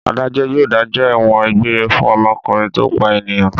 Adájọ́ yóò dájọ́ ẹ̀wọ̀n egbére fún ọmọkùnrin tó pa ènìyàn.